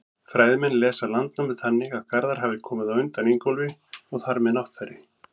Fræðimenn lesa Landnámu þannig að Garðar hafi komið á undan Ingólfi og þar með Náttfari.